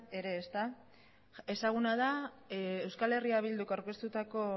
ere ezaguna da eh bilduk aurkeztutako